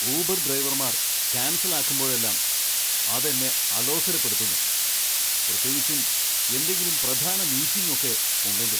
Uber ഡ്രൈവർമാർ cancel ആക്കുമ്പോഴെല്ലാം അത് എന്നെ അലോസരപ്പെടുത്തുന്നു, പ്രത്യേകിച്ചും എന്തെങ്കിലും പ്രധാന മീറ്റിംഗ് ഒക്കെ ഉണ്ടെങ്കിൽ.